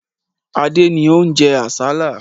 Adé ni ó ń jẹ àsálà.